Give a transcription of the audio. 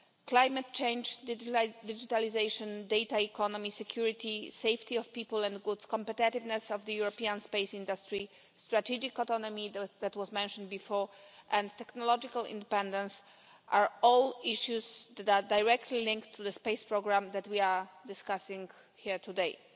Climate change, digitalisation, data economy, security, safety of people and goods, competitiveness of the European space industry, strategic autonomy that was mentioned before and technological independence are all issues that are directly linked to the space programme that we are discussing here today.